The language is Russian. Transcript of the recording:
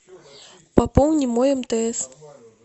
пополни мой мтс